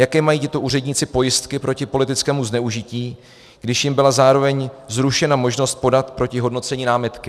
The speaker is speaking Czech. Jaké mají tito úředníci pojistky proti politickému zneužití, když jim byla zároveň zrušena možnost podat proti hodnocení námitky?